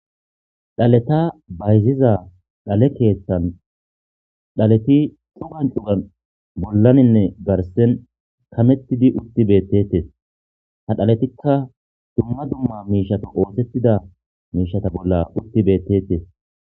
Dhaleta bayziza dhale keeththan dhaleti cugan cugan bollaninne garsen kamettidi utti beettetes ha dhaletikka dumma dumma miishata oosettida miishata bolla utti beettetes.